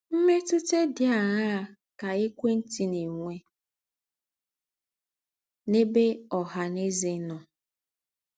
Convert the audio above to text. Mmétụ̀tà dị àṅáa kà ékwé ntị na - ènwé n’ēbè ọ̀hà nà ėzè nọ?